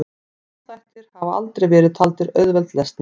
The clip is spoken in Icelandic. frumþættir hafa aldrei verið taldir auðveld lesning